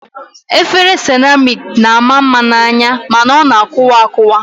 Efere seramik na-ama mma n'anya mana ọ na-akụwa akụwa